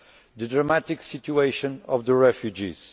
the dramatic situation of the refugees